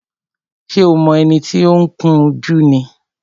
Ṣé o mọ ẹni tí ó ń kun jú mi?